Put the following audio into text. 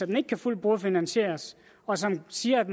den ikke kan fuldt brugerfinansieres og som siger at